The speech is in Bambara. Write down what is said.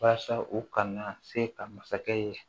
Walasa u kana se ka masakɛ ye